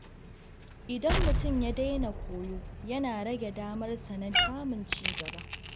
Idan mutum ya daina koyo, yana rage damar sa na samun ci gaba.